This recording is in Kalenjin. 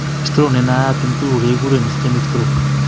Stroke nenaiyat en tugul kekuren ischemic stroke